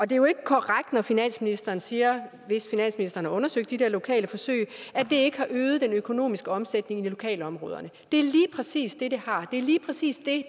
det er jo ikke korrekt når finansministeren siger hvis finansministeren har undersøgt de der lokale forsøg at det ikke har øget den økonomiske omsætning i lokalområderne det er lige præcis det det har det er lige præcis det